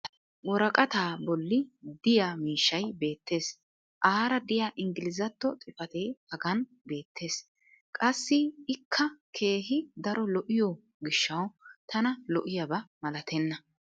woraqataa bolli diyaa miishshay beetees. aara diya ingglizzatto xifatee hagan beetees. qassi ikka keehi daro lo'iyo gishshawu tana lo'iyaba malatenna.